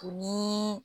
U ni